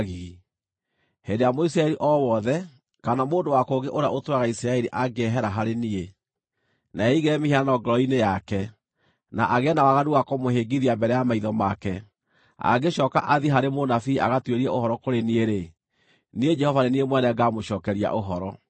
“ ‘Hĩndĩ ĩrĩa Mũisiraeli o wothe, kana mũndũ wa kũngĩ ũrĩa ũtũũraga Isiraeli angĩehera harĩ niĩ, na eigĩre mĩhianano ngoro-inĩ yake, na agĩe na waganu wa kũmũhĩngithia mbere ya maitho make, angĩcooka athiĩ harĩ mũnabii agatuĩrie ũhoro kũrĩ niĩ-rĩ, niĩ Jehova nĩ niĩ mwene ngaamũcookeria ũhoro.